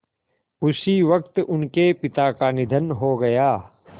उसी वक़्त उनके पिता का निधन हो गया